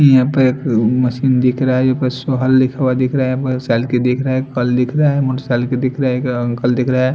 यहाँ पे एक मशीन दिख रहा है लिखा हुआ दिख रहा है मोटर साइकिल दिख रहा है एक अंकल दिख रहा है।